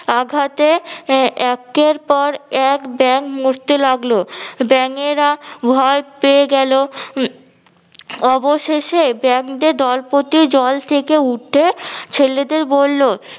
আঘাতে আহ একের পর এক ব্যাঙ মরতে লাগলো। ব্যাঙেরা ভয় পেয়ে গেলো। উম অবশেষে ব্যাংদে দলপ্রতি জল থেকে উঠে ছেলেদের বললো